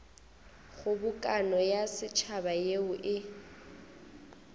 kgobokano ya setšhaba yeo e